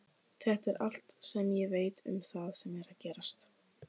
Þetta er allt sem ég veit um það sem gerðist.